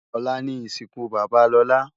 Olá ni isinkú baba Lola